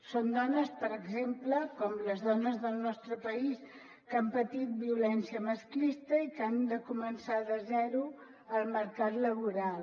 són dones per exemple com les dones del nostre país que han patit violència masclista i que han de començar de zero al mercat laboral